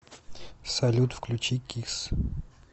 салют включи кисс